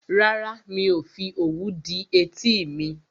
Rárá, mi ò fi òwú dí etí mi